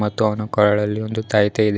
ಮತ್ತು ಅವನ ಕೊರಳಲ್ಲಿ ಒಂದು ತಾಯಿತ ಇದೆ.